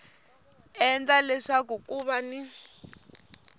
endla leswaku ku va ni